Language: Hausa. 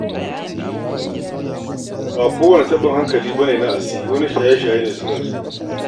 Ba kowane taɓin hankali ne na asiri ba, wani shaye-shaye ne silarsa.